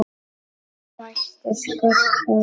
Fæstir skollar